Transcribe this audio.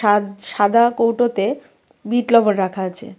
ঠাদ সাদা কৌটাতে বিট লবণ রাখা আছে .